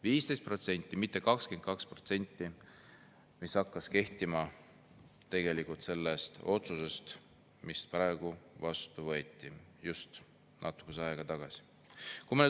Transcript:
15%, mitte 22%, mis hakkas kehtima selle otsusega, mis natuke aega tagasi vastu võeti.